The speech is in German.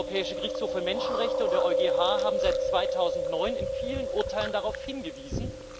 Der Europäische Gerichtshof für Menschenrechte und der EuGH haben seit 2009 in vielen Urteilen darauf hingewiesen.